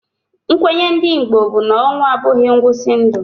Nkwenye ndị Igbo bụ na ọnwụ a bụghị ngwụsị ndụ.